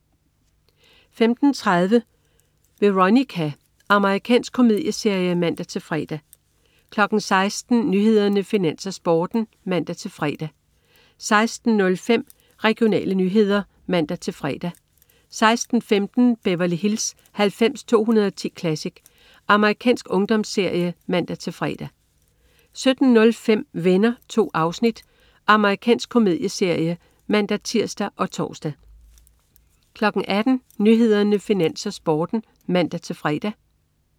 15.30 Veronica. Amerikansk komedieserie (man-fre) 16.00 Nyhederne, Finans, Sporten (man-fre) 16.05 Regionale nyheder (man-fre) 16.15 Beverly Hills 90210 Classic. Amerikansk ungdomsserie (man-fre) 17.05 Venner. 2 afsnit. Amerikansk komedieserie (man-tirs og tors) 18.00 Nyhederne, Finans, Sporten (man-fre)